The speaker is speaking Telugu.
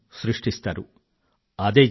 అదే జిజ్ఞాస కొత్త శోధనకు కారణమౌతుంది